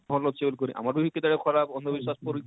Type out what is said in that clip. ଭଲ ଅଛେ ବଳି କରି ଆମର ବି କେତେ ବେଳେ ଖରାପ ଅନ୍ଧବିଶ୍ୱାସ ପରି